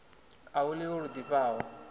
a hu ḽiwi lu ḓifhaho